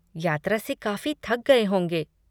यात्रा से काफ़ी थक गए होंगे।